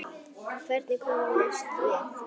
En hvernig komumst við?